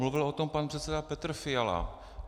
Mluvil o tom pan předseda Petr Fiala.